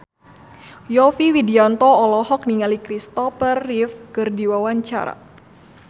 Yovie Widianto olohok ningali Kristopher Reeve keur diwawancara